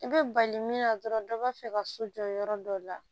I bɛ bali min na dɔrɔn dɔ b'a fɛ ka so jɔ yɔrɔ dɔ la